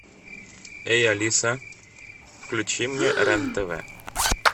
эй алиса включи мне рен тв